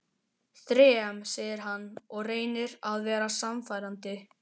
Þrem, segir hann og reynir að vera sannfærandi.